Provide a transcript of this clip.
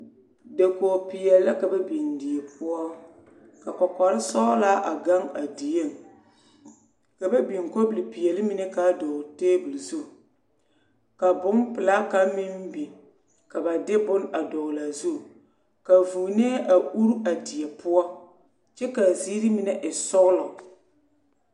Dakogpeɛle la ka ba biŋ die poɔ ka kɔkɔlsɔglaa a gaŋ a dieŋ ka ba biŋ kɔbilpeɛle mine k,a dɔgle tabol zu ka bompelaa kaŋ meŋ biŋ ka ba de bone a dɔgle a zu ka vuunee a uri a die poɔ kyɛ ka a ziiri mine e sɔglɔ.